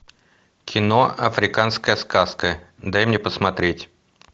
кино африканская сказка дай мне посмотреть